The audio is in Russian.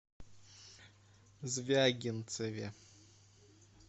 звягинцеве